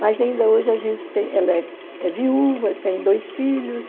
Mas ainda hoje a gente tem... Ela é é viúva, tem dois filhos.